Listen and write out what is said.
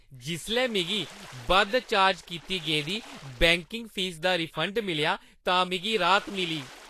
जिसलै मिगी बद्ध चार्ज कीती गेदी बैंकिंग फीस दा रिफंड मिलेआ तां मिगी राह्त मिली।